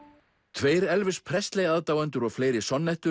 tveir Elvis aðdáendur og fleiri